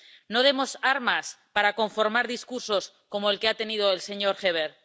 No demos armas para conformar discursos como el que ha tenido el señor Heaver.